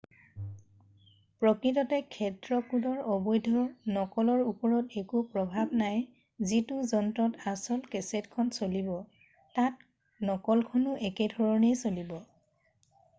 প্ৰকৃততে ক্ষেত্ৰ কোডৰ অবৈধ নকলৰ ওপৰত একো প্ৰভাৱ নাই যিটো যন্ত্ৰত আচল কেছেট খন চলিব তাত নকলখনো একেধৰণেই চলিব